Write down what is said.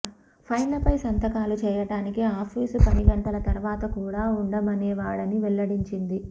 ఫైళ్లపై సంతకాలు చేయడానికి ఆఫీసు పనిగంటల తర్వాత కూడా ఉండమనేవాడని వెల్లడించింది